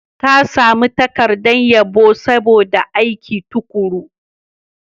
Ta sami takardar yabo saboda aikin tuƙuru.